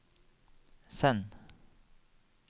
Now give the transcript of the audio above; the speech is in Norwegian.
send